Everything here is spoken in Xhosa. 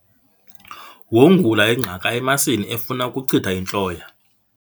Wongula ingqaka emasini efuna ukuchitha intloya.